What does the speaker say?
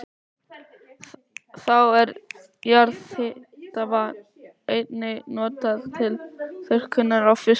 Þá er jarðhitavatn einnig notað til þurrkunar á fiski.